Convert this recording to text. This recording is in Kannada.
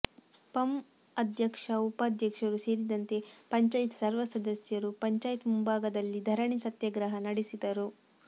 ಪಂ ಅಧ್ಯಕ್ಷ ಉಪಾಧ್ಯಕ್ಷರು ಸೇರಿದಂತೆ ಪಂಚಾಯತ್ ಸರ್ವಸದಸ್ಯರು ಪಂಚಾಯತ್ ಮುಂಭಾಗದಲ್ಲಿ ಧರಣಿ ಸತ್ಯಾಗ್ರಹ ನಡೆಸಿದರು